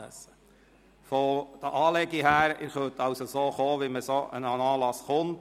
Was die Kleidung anbelangt, können Sie so kommen, wie man an einen solchen Anlass kommt.